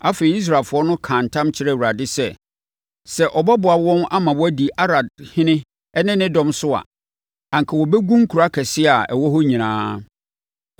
Afei, Israelfoɔ no kaa ntam kyerɛɛ Awurade sɛ, sɛ ɔbɛboa wɔn ama wɔadi Arad ɔhene ne de dɔm so a, anka wɔbɛgu nkuro akɛseɛ a ɛwɔ hɔ nyinaa.